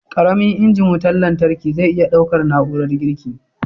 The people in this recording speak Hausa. Ƙaramin injin wutan lantarkin zai iya ɗaukar na'urar girki??